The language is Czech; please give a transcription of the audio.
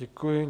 Děkuji.